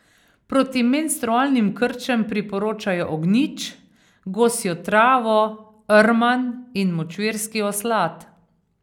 Proti menstrualnim krčem priporočajo ognjič, gosjo travo, rman in močvirski oslad.